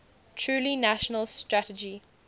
truly national strategy